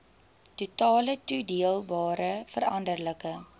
totale toedeelbare veranderlike